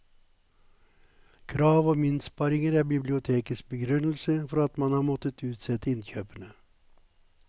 Krav om innsparinger er bibliotekets begrunnelse for at man har måttet utsette innkjøpene.